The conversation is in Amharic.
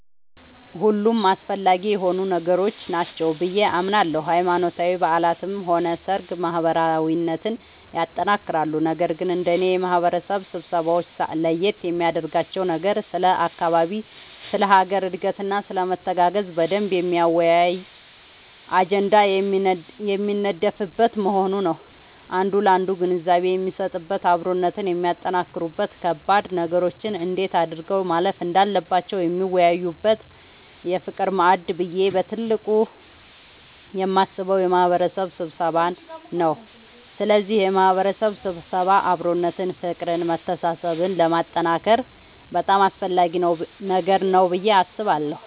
ሁሉም አስፈላጊ የሆኑ ነገሮች ናቸው ብዬ አምናለሁ ሃይማኖታዊ በዓላትም ሆነ ሰርግ ማህበራዊነትን ያጠነክራሉ ነገር ግን እንደኔ የማህበረሰብ ስብሰባወች ለየት የሚያደርጋቸው ነገር ስለ አካባቢ ስለ ሀገር እድገትና ስለመተጋገዝ በደንብ የሚያወያይ አጀንዳ የሚነደፍበት መሆኑ ነዉ አንዱ ላንዱ ግንዛቤ የሚሰጥበት አብሮነትን የሚያጠነክሩበት ከባድ ነገሮችን እንዴት አድርገው ማለፍ እንዳለባቸው የሚወያዩበት የፍቅር ማዕድ ብዬ በትልቁ የማስበው የማህበረሰብ ስብሰባን ነዉ ስለዚህ የማህበረሰብ ስብሰባ አብሮነትን ፍቅርን መተሳሰብን ለማጠንከር በጣም አስፈላጊ ነገር ነዉ ብዬ አስባለሁ።